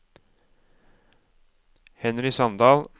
Henry Sandal